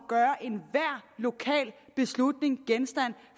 gøre enhver lokal beslutning til genstand